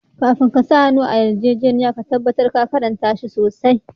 Kafin ka sa hannu a yarjejeniya ka tabatar ka karnta shi sosai.